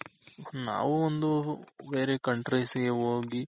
ನಾವು ಒಂದು ಬೇರೆ countries ಗೆ ಹೋಗಿ